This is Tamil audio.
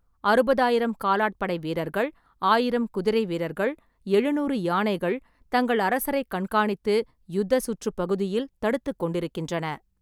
அறுபதுஆயிரம் காலாட்படை வீரர்கள், ஆயிரம் குதிரைவீரர்கள், எழுநூறு யானைகள் தங்கள் அரசரை கண்காணித்து ,'யுத்த சுற்றுப் பகுதியில்' தடுத்துக் கொண்டிருக்கின்றன.